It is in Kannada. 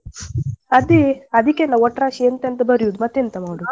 ಅದೆ ಅದಿಕಲ್ಲ ಒಟ್ರಾಶಿ ಎಂತೆಂತ ಬರಿಯುದ್ ಮತ್ತೆಂತ ಮಾಡುದು.